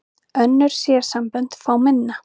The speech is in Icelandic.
Önnur sérsambönd fá minna